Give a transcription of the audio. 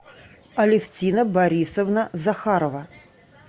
алевтина борисовна захарова